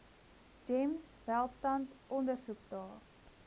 gems welstand ondersoekdae